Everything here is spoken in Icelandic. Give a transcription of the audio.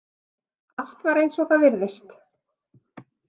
Allt var eins og það virðist.